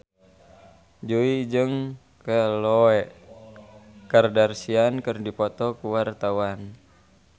Jui jeung Khloe Kardashian keur dipoto ku wartawan